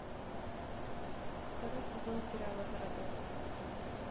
второй сезон сериала торадора